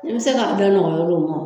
I bɛ se k'a da nɔrɔya u ma